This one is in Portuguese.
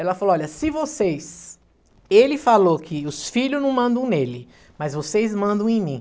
Ela falou, olha, se vocês... Ele falou que os filhos não mandam nele, mas vocês mandam em mim.